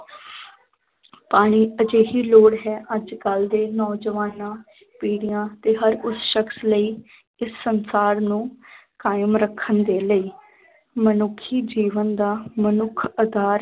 ਪਾਣੀ ਇੱਕ ਅਜਿਹੀ ਲੋੜ ਹੈ, ਅੱਜ ਕੱਲ੍ਹ ਦੇ ਨੌਜਵਾਨਾਂ ਪੀੜੀਆਂ ਤੇ ਹਰ ਉਸ ਸ਼ਕਸ ਲਈ ਇਸ ਸੰਸਾਰ ਨੂੰ ਕਾਇਮ ਰੱਖਣ ਦੇ ਲਈ ਮਨੁੱਖੀ ਜੀਵਨ ਦਾ ਮਨੁੱਖ ਆਧਾਰ